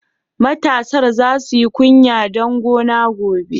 Matasar za su yi kunya duk gona gobe.